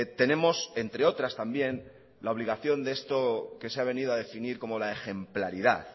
tenemos entre otras también la obligación de esto que se ha venido a definir como la ejemplaridad